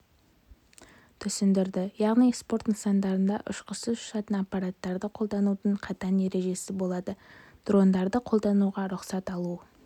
түсіндірді яғни спорт нысандарында ұшқышсыз ұшатын аппараттарды қолданудың қатаң ережесі болады дрондарды қолдануға рұқсат алу